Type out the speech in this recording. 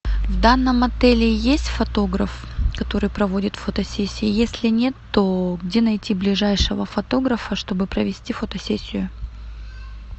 в данном отеле есть фотограф который проводит фотосессии если нет то где найти ближайшего фотографа чтобы провести фотосессию